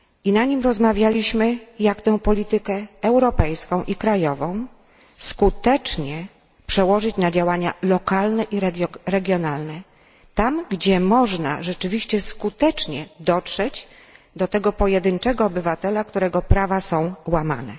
Na nim rozmawialiśmy jak tę politykę europejską i krajową skutecznie przełożyć na działania lokalne i regionalne tam, gdzie można rzeczywiście skutecznie dotrzeć do tego pojedynczego obywatela, którego prawa są łamane.